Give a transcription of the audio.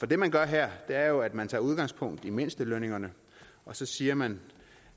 det man gør her er jo at man tager udgangspunkt i mindstelønningerne og så siger man